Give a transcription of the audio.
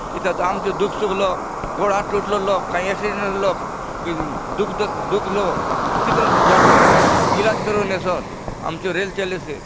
एथा आमचो दुःख सुःख लो गोड़ हाथ टूटलो लोग काई एक्सीडेंट होलो लोग दुःख दुखलो कितरो दूर जासोत इलाज करुन एसोत आमचो रेल चलेसे।